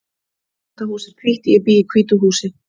Þetta hús er hvítt. Ég bý í hvítu húsi.